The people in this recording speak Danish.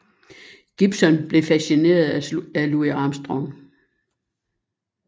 Gibson blev fascineret af Louis Armstrong